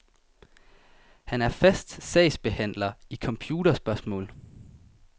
Han er fast sagsbehandler i computerspørgsmål.